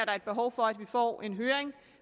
er et behov for at vi får en høring